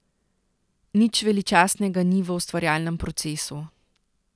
Nič veličastnega ni v ustvarjalnem procesu.